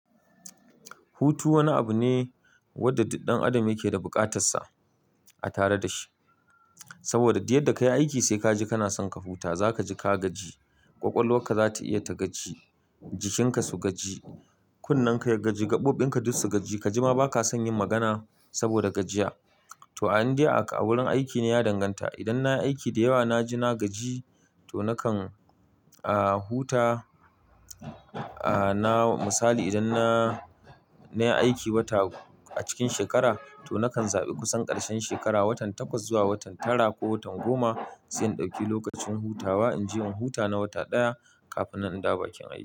Hutu wani abu ne wanda duk ɗan adam yake da buƙatar sa a tare dashi. Saboda diyar da ka yi aiki sai kaji kana son ka huta, za kaji ka gaji, ƙwaƙwalwarka za ta iya ta gaji, jikinka su gaji, kunnenka ya gaji, gaɓoɓin ka duk su gaji. Kaji ma ba ka son yin magana saboda gajiya. To an dai a ka wurin aiki na ya danganta. Idan na yi aiki da yawa na ji na gaji to nakan, ah, huta, ah, na, misali idan na, na yi aiki wata a cikin shekara to nakan zaɓi kusan ƙarshen shekara, watan takwas zuwa watan tara ko watan goma sai in ɗauki lokacin hutawa. In je in huta na wata ɗaya kafin nan in dawo bakin aiki.